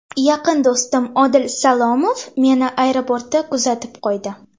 Yaqin do‘stim Odil Salomov meni aeroportda kuzatib qo‘ydi.